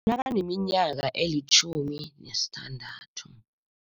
Nakaneminyaka elitjhumi nesithandathu.